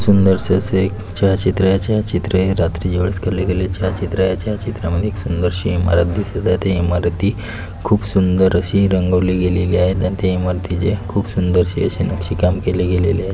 सुंदरस असं एक छायाचित्रयाचं या चित्रये रात्री या वेळेस केले गेले छायाचित्रयाच्या या चित्रामध्ये एक सुंदर शी इमारत दिसत आहे. त्या इमारती खूप सुंदर अशी रंगवले गेलेली आहे आणि त्या इमारतीचे खूप सुंदर शे आशे नक्षीकाम केले गेलेलं आहे.